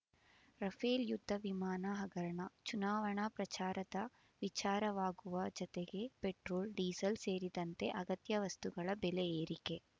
Rafale ಯುದ್ಧ ವಿಮಾನ ಹಗರಣ ಚುನಾವಣಾ ಪ್ರಚಾರದ ವಿಚಾರವಾಗುವ ಜತೆಗೆ ಪೆಟ್ರೋಲ್ಡೀಸಲ್ ಸೇರಿದಂತೆ ಅಗತ್ಯ ವಸ್ತುಗಳ ಬೆಲೆ ಏರಿಕೆ